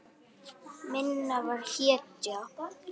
Minna var hetja.